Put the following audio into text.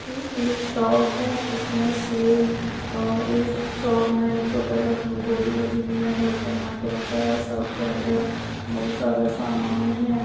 ये एक शॉप है। इसमें सी उ इ और इस शॉप में एक छोटा सा घोड़ी जैसा नीला कलर का बना कर रखा है। शॉप के अंदर बहोत सारा सामान है।